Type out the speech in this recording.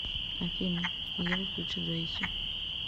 афина ева включи джейси